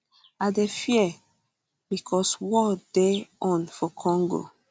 i dey fear becos war dey on for for congo